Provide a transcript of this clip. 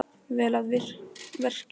Vel að verki staðið.